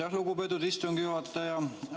Aitäh, lugupeetud istungi juhataja!